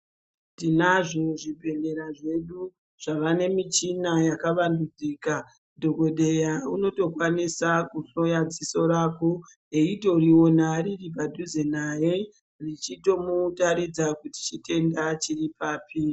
Tinazvo zvibhehlera zvedu zvawane michina yakawandudzika, dhokodheya unotokwanisa kutora ziso rako eitoriona riripadhuze naye richitomutaridza kuti chitenda chiripapi.